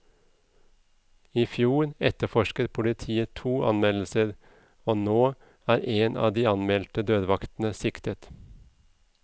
I fjor etterforsket politiet to anmeldelser, og nå er en av de anmeldte dørvaktene siktet.